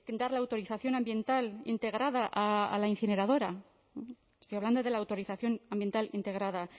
dar la autorización ambiental integrada a la incineradora estoy hablando de la autorización ambiental integrada